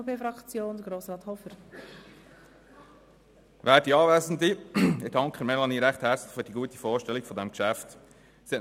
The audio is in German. Ich danke Melanie Beutler für die gute Vorstellung dieses Geschäftes.